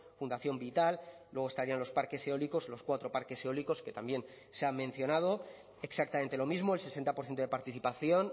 fundación vital luego estarían los parques eólicos los cuatro parques eólicos que también se ha mencionado exactamente lo mismo el sesenta por ciento de participación